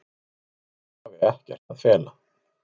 Hún hafi ekkert að fela.